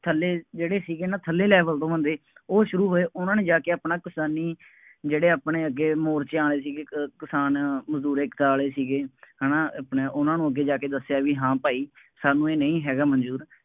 ਥੱਲੇ ਜਿਹੜੇ ਸੀਗੇ ਨਾ ਥੱਲੇ level ਤੋਂ ਬੰਦੇ, ਉਹ ਸ਼ੁਰੂ ਹੋਏ, ਉਹਨਾ ਨੇ ਜਾ ਕੇ ਆਪਣਾ ਕਿਸਾਨੀ ਜਿਹੜੇ ਆਪਣੇ ਅੱਗੇ ਮੋਰਚਿਆਂ ਵਾਲੇ ਸੀਗੇ, ਕ ਕਿਸਾਨ ਮਜ਼ਦੂਰ ਏਕਤਾ ਆਲੇ ਸੀਗੇ, ਹੈ ਨਾ, ਆਪਣੇ ਉਹਨਾ ਨੂੰ ਅੱਗੇ ਜਾ ਕੇ ਦੱਸਿਆਂ ਬਈ ਹਾਂ ਭਾਈ ਸਾਨੂੰ ਇਹ ਨਹੀਂ ਹੈਗਾ ਮੰਨਜ਼ੂਰ,